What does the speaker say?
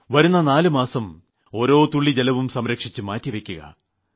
വരുന്ന നാലു മാസക്കാലം ഓരോ തുള്ളി ജലവും സംരക്ഷിച്ച് മാറ്റിവയ്ക്കുക